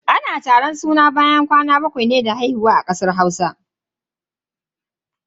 Ana taron suna ne bayan kwana bakwai da haihuwa a garin Hausa.